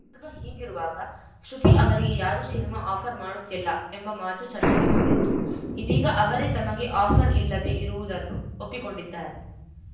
ಸಂದರ್ಭ ಹೀಗಿರುವಾಗ ಶ್ರುತಿ ಅವರಿಗೆ ಯಾರೂ ಸಿನಿಮಾ ಆಫರ್‌ ಮಾಡುತ್ತಿಲ್ಲ ಎಂಬ ಮಾತು ಚರ್ಚೆಗೆ ಬಂದಿತ್ತು ಇದೀಗ ಅವರೇ ತಮಗೆ ಆಫರ್‌ ಇಲ್ಲದೇ ಇರುವುದನ್ನು ಒಪ್ಪಿಕೊಂಡಿದ್ದಾರೆ